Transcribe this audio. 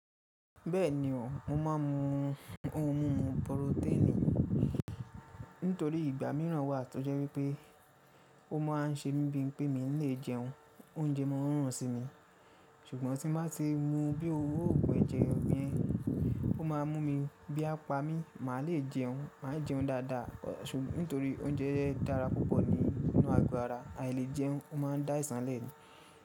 Bẹ́ẹ̀ni o, mo ma ń mu ohun pọrotẹ́ẹ́nì nítorí ìgbà mìíràn wà tó jẹ́ wípé ó ma ń ṣe mí bí i pé mi le jẹun, oúnjẹ máa ń run sí mi ṣùgbọ́n tí n bá ti mu bí òwú pẹ̀jẹ́ ọ̀bẹ, ó ma mú mi ebí a pa mi, mà le jẹun, mà jẹun dáadáa nítorí oúnjẹ dára púpọ̀ nínú àgbo àrá, àì lè jẹun, ó ma dá aìsàn lẹ̀ ni.